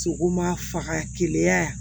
Sogo ma faga keleya yan